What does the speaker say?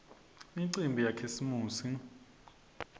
imicimbi yakhisimusi